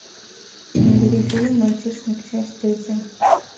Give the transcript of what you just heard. набери фильм мальчишник часть третья